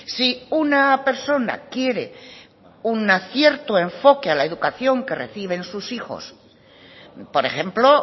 si una persona quiere un cierto enfoque a la educación que reciben sus hijos por ejemplo